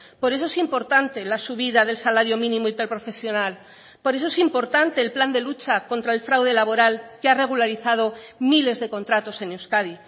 por eso es importante la subida del salario mínimo interprofesional por eso es importante el plan de lucha contra el fraude laboral que ha regularizado miles de contratos en euskadi